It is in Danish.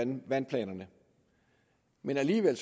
med vandplanerne men alligevel